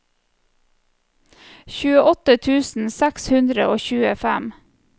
tjueåtte tusen seks hundre og tjuefem